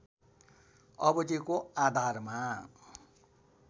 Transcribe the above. अवधिको आधारमा